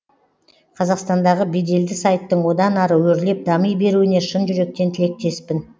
қазақстандағы беделді сайттың одан ары өрлеп дами беруіне шын жүректен тілектеспін